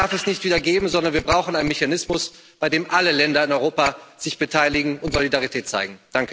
So was darf es nicht wieder geben, sondern wir brauchen einen Mechanismus, bei dem alle Länder in Europa sich beteiligen und Solidarität zeigen.